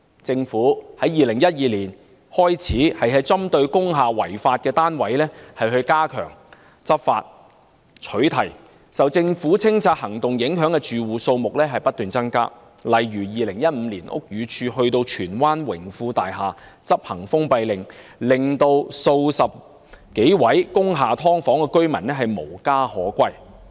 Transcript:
政府自2012年起針對工廈違法單位加強執法和取締，受政府清拆行動影響的住戶數目不斷增加，例如屋宇署在2015年到荃灣榮豐工業大廈執行封閉令，數十名工廈"劏房"居民無家可歸。